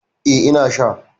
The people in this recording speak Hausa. Eh, ina sha